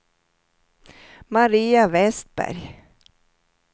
Maria Westberg